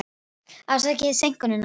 Afsakið seinkunina.